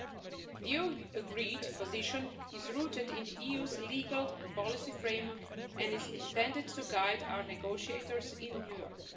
The EU's agreed position is rooted in the EU's legal and policy framework and is intended to guide our negotiators in New York.